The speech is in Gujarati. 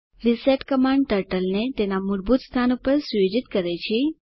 રિસેટ કમાન્ડ ટર્ટલને તેના મૂળભૂત સ્થાન પર સુયોજિત કરે છે